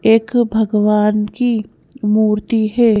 एक भगवान की मूर्ति है।